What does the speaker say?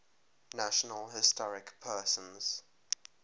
national historic persons